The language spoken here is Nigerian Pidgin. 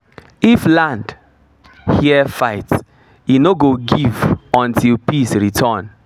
if land hear fight e no go give until peace return